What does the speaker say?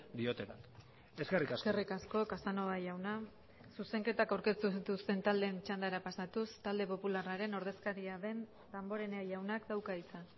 diotenak eskerrik asko eskerrik asko casanova jauna zuzenketak aurkeztu dituzten taldeen txandara pasatuz talde popularraren ordezkaria den damborenea jaunak dauka hitza